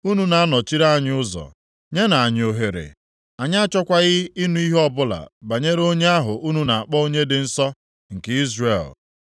Unu na-anọchiri anyị ụzọ, nyenụ anyị ohere. Anyị achọkwaghị ịnụ ihe ọbụla banyere onye ahụ unu na-akpọ Onye dị nsọ nke Izrel.”